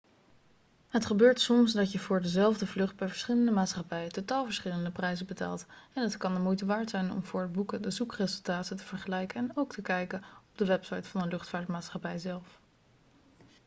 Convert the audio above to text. het gebeurt soms dat je voor dezelfde vlucht bij verschillende maatschappijen totaal verschillende prijzen betaalt en het kan de moeite waard zijn om voor het boeken de zoekresultaten te vergelijken en ook te kijken op de website van de luchtvaartmaatschappij zelf